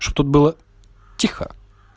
чтоб было тихо